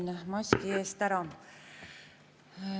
Sain maski eest ära.